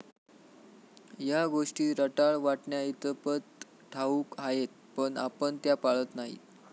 या गोष्टी रटाळ वाटण्याइतपत ठाऊक आहेत. पण आपण त्या पाळत नाही.